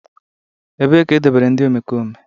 Ebee ka edobere ndị omekome?